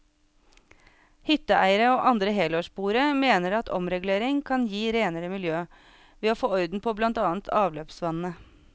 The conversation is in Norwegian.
Hytteeiere og andre helårsboere mener at omregulering kan gi renere miljø, ved å få orden på blant annet avløpsvannet.